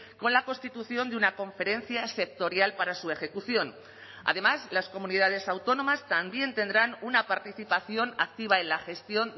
con la constitución de una conferencia sectorial para su ejecución además las comunidades autónomas también tendrán una participación activa en la gestión